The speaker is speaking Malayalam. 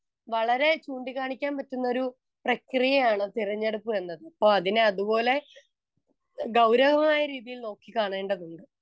സ്പീക്കർ 1 വളരെ ചൂണ്ടിക്കാണിക്കാൻ പറ്റുന്നൊരു പ്രക്രിയയാണ് തിരഞ്ഞെടുപ്പ് എന്നത് അപ്പൊ അതിനെ അതുപോലെ ഗൗരവമായ രീതിയിൽ നോക്കി കാണേണ്ടതുണ്ട്.